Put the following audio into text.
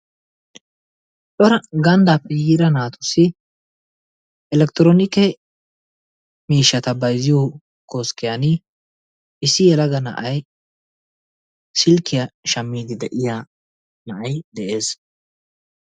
Cora gandaappe yiida naatussi elekitiroonikke miishshata bayzziyo koskkiyan issi yelaga na'ay silkkiya shamiidi de'iya na'ay de'ees.